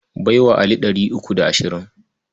Bai wa Ali three uku da ashirin.